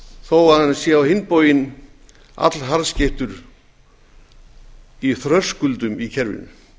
þó hann sé á hinn bóginn allharðskeyttur í þröskuldum í kerfinu